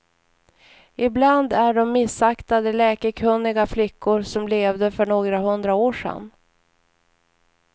Ibland är de missaktade, läkekunniga flickor som levde för några hundra år sedan.